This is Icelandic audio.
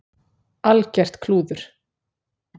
Algert klúður.